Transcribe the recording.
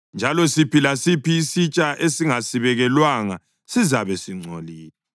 njalo siphi lasiphi isitsha esingasibekelwanga sizabe singcolile.